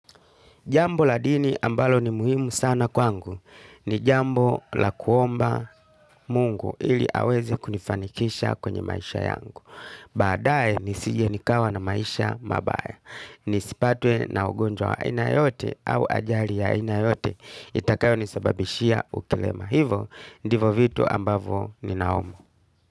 Jambo la dini ambalo ni muhimu sana kwangu ni jambo la kuomba mungu ili aweze kunifanikisha kwenye maisha yangu. Baadae nisije nikawa na maisha mabaya. Nisipatwe na ugonjwa wa aina yoyote au ajali ya aina yoyote itakayonisababishia ukilema. Hivo ndivo vitu ambavo ni naomba.